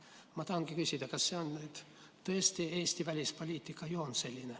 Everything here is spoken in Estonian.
Ma tahangi küsida, kas tõesti Eesti välispoliitika joon on selline.